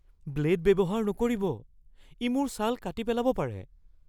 Blade ব্যৱহাৰ নকৰিব। ই মোৰ ছাল কাটি পেলাব পাৰে।